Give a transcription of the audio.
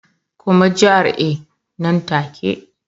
Koma GRA nan take